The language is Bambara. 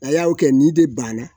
A y'aw kɛ nin de banna